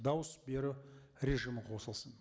дауыс беру режимі қосылсын